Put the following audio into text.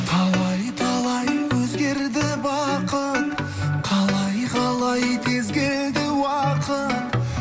талай талай өзгерді бақыт қалай қалай тез келді уақыт